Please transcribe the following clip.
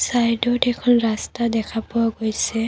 চাইডত এখন ৰাস্তা দেখা পোৱা গৈছে।